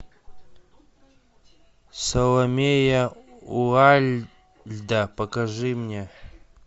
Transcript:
саломея уайльда покажи мне